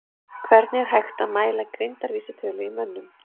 Hvernig er hægt að mæla greindarvísitölu í mönnum?